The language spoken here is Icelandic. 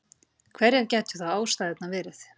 Hverjar gætu þá ástæðurnar verið?